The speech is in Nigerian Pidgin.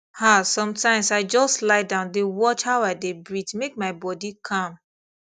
ah sometimes i just lie down dey watch how i dey breathe make my body calm